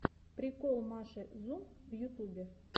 прикол маши зум в ютубе